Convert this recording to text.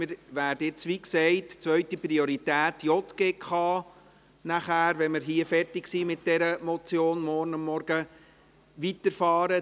Sobald wir morgen Vormittag mit dieser Motion fertig sind, werden wir, wie gesagt, mit den JGK-Geschäfte der zweiten Priorität weiterfahren.